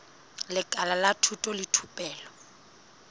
lekala la thuto le thupelo